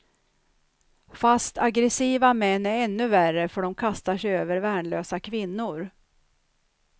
Fast aggressiva män är ännu värre för de kastar sig över värnlösa kvinnor.